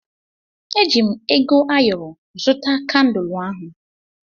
Eji m ego ayọrọ zụta kandul ahụ.